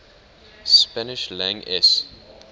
spanish lang es